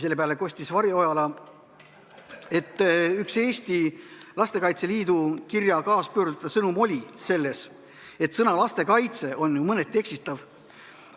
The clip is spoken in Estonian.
Selle peale kostis Varje Ojala, et üks Lastekaitse Liidu kirja kaaspöördujate sõnumeid oli selles, et sõna "lastekaitse" on ju mõneti eksitav.